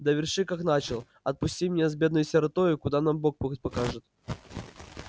доверши как начал отпусти меня с бедною сиротою куда нам бог путь укажет